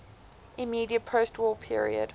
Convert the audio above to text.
immediate postwar period